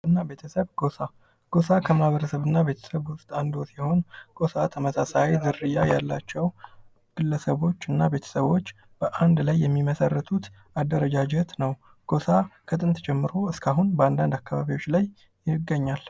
ማህበረሰብ እና ቤተሰብ ጎሳ ጎሳ ከማህበረሰብ እና ቤተሰብ ዉስጥ አንዱ ሲሆን ጎሳ ተመሳሳይ ዝርያ ያላቸው ግለሰቦች እና ቤተሰቦች በአንድ ላይ የሚመሰርቱት አደረጃጀት ነው:: ጎሳ ከጥንት ጀምሮ እስካሁን ባንዳንድ አካባቢዎች ላይ ይገኛል::